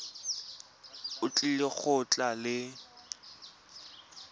o tlile go tla le